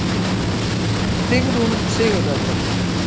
Sigrún Sigurðardóttir.